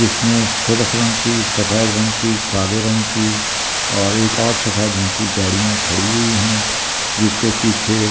जिसमें सुर्ख रंग की सफेद रंग की काले रंग की और एक और सफेद रंग की गाड़ियां खड़ी हुई है जिसके पीछे--